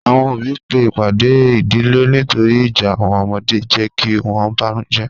Awọn ọbí pe ipàdè ìdílẹ̀ nítòrì ìjà awọn ọmọdè n jẹ̀ kí wọn bánújẹ̀